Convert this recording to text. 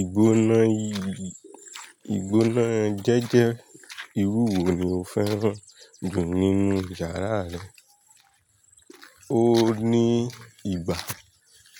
Ìgbóná, ìgbóná jẹ́jẹ́ irú wo ni o fẹ́ràn jù nínú yàrá rẹ? O ní ìgbà